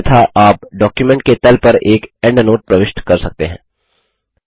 अन्यथा आप डॉक्युमेंट के तल पर एक एंडनोट प्रविष्ट कर सकते हैं